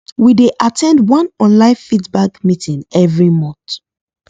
we dey at ten d one online feedback meeting every month